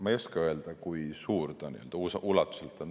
Ma ei oska öelda, kui suur ta ulatuselt on.